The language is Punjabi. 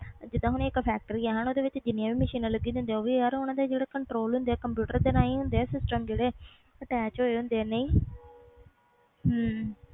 ਜੀਂਦਾ ਹੂ ਇਕ ਫੈਕਟਰੀ ਆ ਓਹਦੇ ਵਿਚ ਜਿੰਨੀਆਂ ਵੀ ਮਸ਼ੀਨਾਂ ਲੱਗੀਆਂ ਹੁੰਦੀਆਂ ਉਹ ਵੀ ਯਾਰ ਓਹਦੇ ਜਿਹੜੇ ਕੰਟਰੋਲ ਕੰਪਿਊਟਰ ਦੇ ਰਹੀ ਹੁੰਦੇ ਆ ਸਿਸਟਮ ਜਿਹੜੇ attach ਹੋਏ ਹੁੰਦੇ ਆ